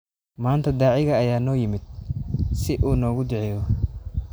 Maanta daaciga ayaa noo yimid si uu noogu duceeyo